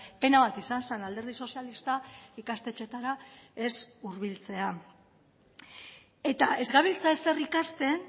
pena bat izan zen alderdi sozialista ikastetxeetara ez hurbiltzea eta ez gabiltza ezer ikasten